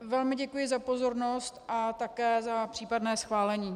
Velmi děkuji za pozornost a také za případné schválení.